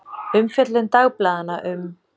Umfjöllun dagblaðanna um